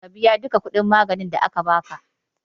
Ka biya duka kuɗin maganin da aka baka